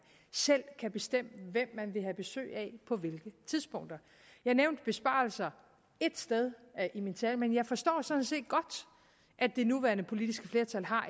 selv kan bestemme hvem man vil have besøg af på hvilke tidspunkter jeg nævnte besparelser ét sted i min tale men jeg forstår sådan set godt at det nuværende politiske flertal har